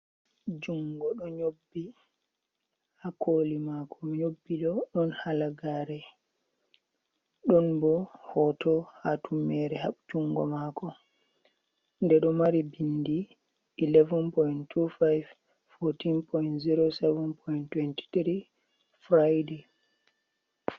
Jungo do nyobbi ha koli mako nyobbi do don halagare, don bo hoto ha tum mere habtungo mako de do mari bindi 11.25-14.07.23 Friday.